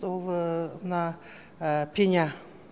ол мына пеня